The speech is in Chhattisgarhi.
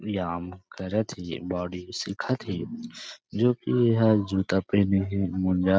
व्यवयाम करत थे ये बॉडी सीखत थे जो की यह जूता पहने हे मोजा--